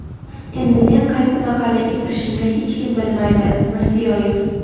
Endi men qaysi mahallaga kirishimni hech kim bilmaydi – Mirziyoyev.